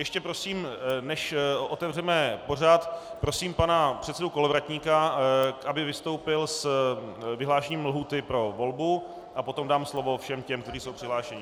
Ještě prosím, než otevřeme pořad, prosím pana předsedu Kolovratníka, aby vystoupil s vyhlášením lhůty pro volbu, a potom dám slovo všem těm, kteří jsou přihlášeni.